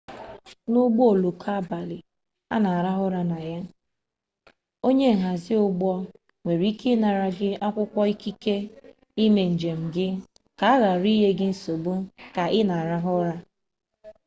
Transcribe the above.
n'ụgbọoloko abalị a na-arahụ ụra na ya onye nhazi ụgbọ nwere ike ịnara gị akwụkwọ ikike ime njem gị ka a ghara inye gị nsogbu ka ị na-arahụ ụra